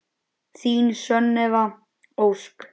Þín Sunneva Ósk.